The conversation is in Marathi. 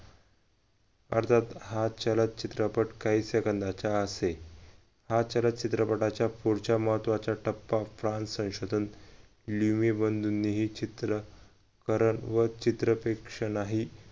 अर्थातच हा छलद चित्रपट काही सेकंदाचा हा असे हा छलद चित्रपटाच्या पुढचा महत्वाचा टप्पा france संशोधन चित्रकरण व चित्रप्रेक्षण ही